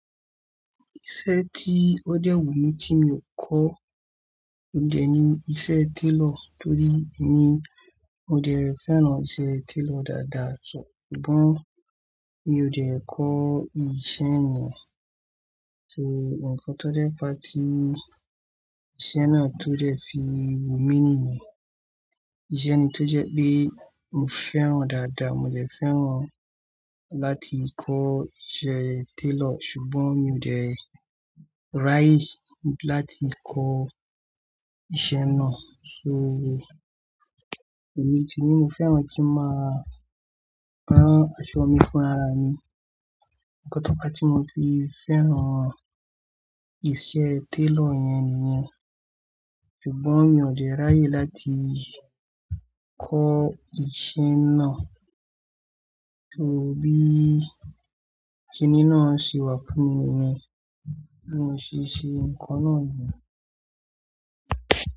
Iṣẹ́ tí ó dẹ́ wù mí tí mi ò kọ́, ó dẹ̀ ní iṣẹ́ tailor. Torí èmi ò dẹ̀ fẹ́ràn ọṣẹ tailor dáadáa, ṣùgbọ́n mi ò dẹ́ kọ́ ìṣe yẹn. So, nǹkan tó dẹ̀ fa tí ìṣe náà tó dẹ̀ fi wù mí nìyẹn. Ìṣe ni tó jẹ́ pé mo fẹ́ràn dáadáa, mo jẹ́ fẹ́ràn láti kọ́ ìṣe tailor ṣùgbọ́n mi ò dẹ́ ráyè láti kọ́ ìṣe náà. So, èmi ti ní mo fẹ́ràn kí ń máa rán aṣọ mi fúnra mi. Nǹkan tó fà tí mo fi fẹ́ràn ìṣe tailor yẹn nìyẹn. Ṣùgbọ́n mi ò dẹ́ ráyè láti kọ́ ìṣe náà. So, bíi kí ni náà ṣe wà fún mi yẹn, bí ò ṣe ṣe nǹkan náà nìyẹn.